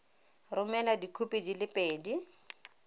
romela dikhopi di le pedi